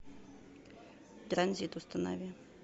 транзит установи